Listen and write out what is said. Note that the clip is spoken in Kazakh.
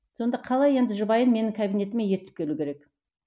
сонда қалай енді жұбайын менің кабинетіме ертіп келу керек